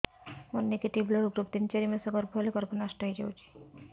ମୋର negative blood group ତିନ ଚାରି ମାସ ଗର୍ଭ ହେଲେ ଗର୍ଭ ନଷ୍ଟ ହେଇଯାଉଛି